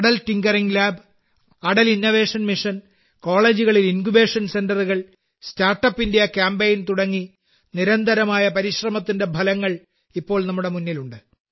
Atal tinkering lab Atal innovation mission കോളേജുകളിൽ incubation സെന്ററുകൾ startup India campaign തുടങ്ങി നിരന്തരമായ പരിശ്രമത്തിന്റെ ഫലങ്ങൾ ഇപ്പോൾ നമ്മുടെ മുന്നിലുണ്ട്